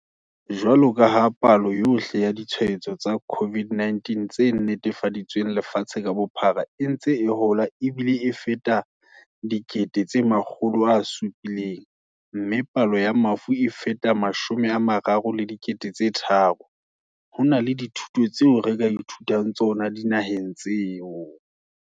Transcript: Jwaloka ha palo yohle ya ditshwaetso tsa COVID-19 tse netefaditsweng lefatshe ka bophara e ntse e hola ebile e feta 700 000, mme palo ya mafu e feta 33 000, ho na le dithuto tseo re ka ithutang tsona dinaheng tseo.